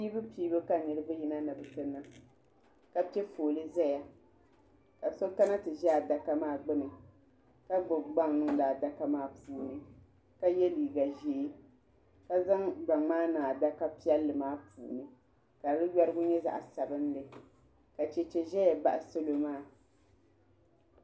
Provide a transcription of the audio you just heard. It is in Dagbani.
Piibupiibu ka niriba yina ni bi ti niŋ ka pɛ foolee zaya ka so kana ti za adaka maa gbuni ka gbubi gbaŋ niŋdi adaka maa puuni ka ye liiga zee ka zaŋ gbaŋ maa niŋ adaka piɛlli maa puuni ka di yorigu nyɛ zaɣi sabinli ka chɛchɛ zɛya baɣi salo maa.